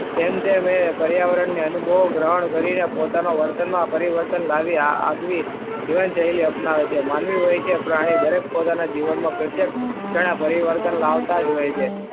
તેમ તેમ એ પર્યાવરણને અનુભવો ગ્રહણ કરીને પોતાનો વર્તનમાં પરિવર્તન લાવી આપે. જીવનશૈલી અપનાવે છે. માનવી હોય કે પ્રાણી દરેક પોતાના જીવનમાં પ્રત્યક્ષ પરિવર્તન લાવતા જ હોય છે.